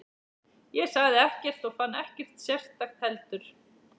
Ég sagði ekkert og fann ekkert sérstakt heldur.